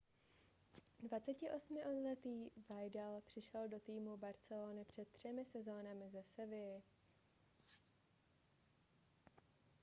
28letý vidal přišel do týmu barcelony před třemi sezónami ze sevilly